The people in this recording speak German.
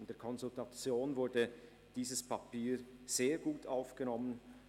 In der Konsultation wurde dieses Papier sehr gut aufgenommen.